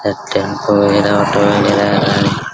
tempo वगैरा auto वैगरा --